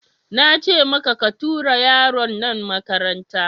Nace maka ka tura yaron nan makaranta!